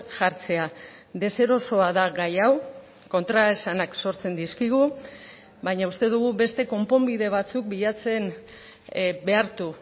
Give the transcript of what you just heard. jartzea deserosoa da gai hau kontraesanak sortzen dizkigu baina uste dugu beste konponbide batzuk bilatzen behartu